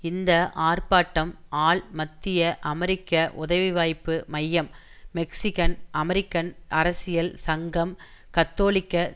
இந்த ஆர்ப்பாட்டம் ஆல் மத்திய அமெரிக்க உதவிவாய்ப்பு மையம் மெக்சிகன் அமெரிக்கன் அரசியல் சங்கம் கத்தோலிக்க